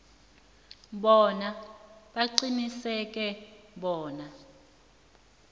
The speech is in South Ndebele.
bona baqiniseke bona